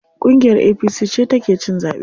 Ƙungiyar APC ce ta ke cin zaɓe.